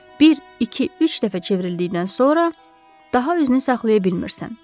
Bir, iki, üç dəfə çevrildikdən sonra daha üzünü saxlaya bilmirsən.